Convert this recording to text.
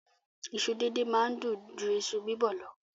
Iṣu díndín máa ń dùn ju iṣu bíbọ̀ lọ.